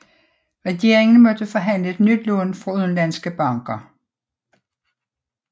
Regeringen måtte forhandle et nyt lån fra udenlandske banker